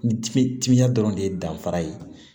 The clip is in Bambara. Timinan dɔrɔn de ye danfara ye